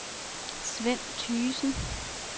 Svend Thygesen